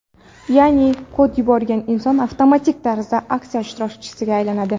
Ya’ni kod yuborgan inson avtomatik tarzda aksiya ishtirokchisiga aylanadi.